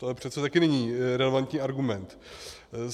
To přece také není relevantní argument.